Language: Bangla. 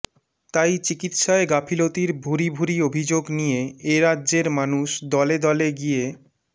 তাই চিকিৎসায় গাফিলতির ভুরি ভুরি অভিযোগ নিয়ে এ রাজ্যের মানুষ দলে দলে গিয়ে